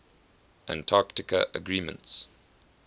antarctica agreements